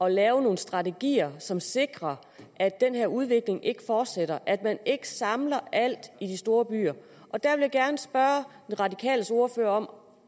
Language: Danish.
at lave nogle strategier som sikrer at den her udvikling ikke fortsætter at man ikke samler alt i de store byer der vil jeg gerne spørge de radikales ordfører om